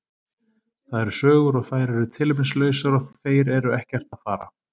Það eru sögur og þær eru tilefnislausar og þeir eru ekkert að fara.